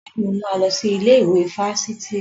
Bẹ́ẹ̀ni, mo máa lọ sí ilé ìwé fáfitì